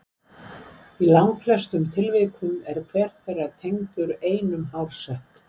í langflestum tilvikum er hver þeirra tengdur einum hársekk